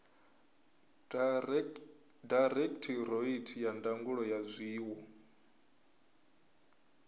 dairekhithoreithi ya ndangulo ya zwiwo